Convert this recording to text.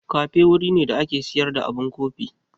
Kafe wuri ne da ake sayar da abun kofi.